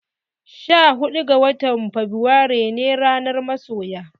Sha huɗu ga watan Fabrairu ne ranar masoya.